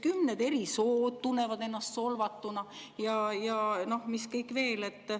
Kümned eri sood tunnevad ennast solvatuna ja mis kõik veel.